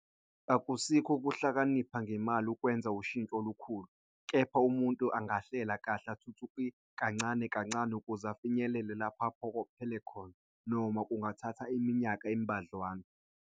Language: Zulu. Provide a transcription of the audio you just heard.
Akusiko ukuhlakanipha ngemali ukwenza ushintsho olukhulu, kepha umuntu anaghlela kahle athuthukise kancane kancane ukuze afinyelele lapho aphokophelele khona, noma kungathatha iminyakana embadlwana.